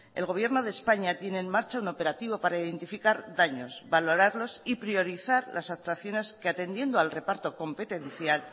el gobierno de españa tiene en marcha un operativo para identificar daños valorarlos y priorizar las actuaciones que atendiendo al reparto competencial